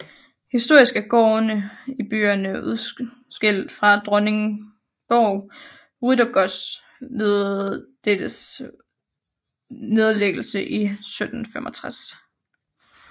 Historisk er gårdene i byerne udskilt fra Dronningborg Ryttergods ved dettes nedlæggelse i 1765